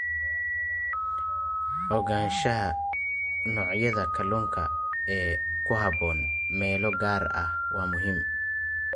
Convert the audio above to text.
Ogaanshaha noocyada kalluunka ee ku habboon meelo gaar ah waa muhiim.